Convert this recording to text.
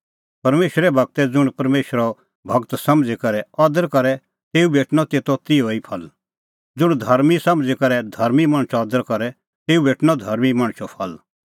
परमेशरे गूरा ज़ुंण परमेशरो गूर समझ़ी करै अदर करे तेऊ भेटणअ तेतो तिहअ ई फल ज़ुंण धर्मीं समझ़ी करै धर्मीं मणछो अदर करे तेऊ भेटणअ धर्मीं मणछो फल